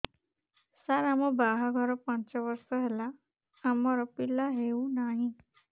ସାର ଆମ ବାହା ଘର ପାଞ୍ଚ ବର୍ଷ ହେଲା ଆମର ପିଲା ହେଉନାହିଁ